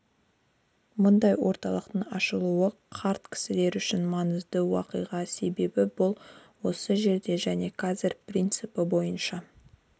мұндай орталықтың ашылуы қарт кісілер үшін маңызды уақиға себебі бұл осы жерде және қазір принципі бойынша